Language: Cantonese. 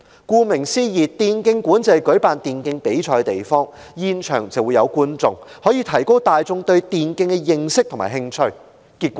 顧名思義，電競館是舉辦電競比賽的地方，並開放讓現場觀眾觀賞，提高大眾對電競的認識和興趣，主席，結果如何？